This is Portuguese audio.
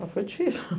Mas foi difícil.